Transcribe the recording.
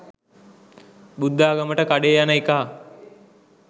බුද්ධාගමට කඩේ යන එකා